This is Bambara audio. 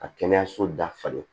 Ka kɛnɛyaso dafa